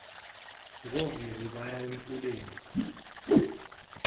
ngovivi baya emfuleni